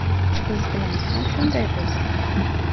Biz bilan ham shunday bo‘ldi.